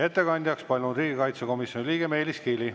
Ettekandjaks palun riigikaitsekomisjoni liikme Meelis Kiili.